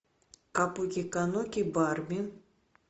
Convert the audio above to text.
капуки кануки барби